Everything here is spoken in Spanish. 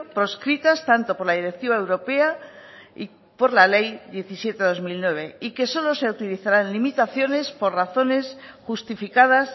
proscritas tanto por la directiva europea y por la ley diecisiete barra dos mil nueve y que solo se utilizarán limitaciones por razones justificadas